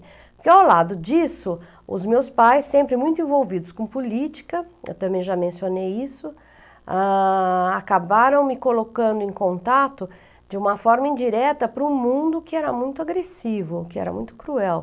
Que ao lado disso, os meus pais, sempre muito envolvidos com política, eu também já mencionei isso, ah... acabaram me colocando em contato de uma forma indireta para um mundo que era muito agressivo, que era muito cruel.